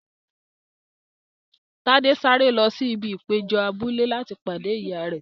Tade sáré lọ sí ibi ìpéjọ abúlé láti pàdé ìyá rẹ.